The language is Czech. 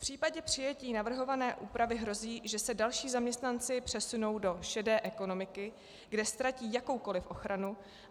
V případě přijetí navrhované úpravy hrozí, že se další zaměstnanci přesunou do šedé ekonomiky, kde ztratí jakoukoliv ochranu.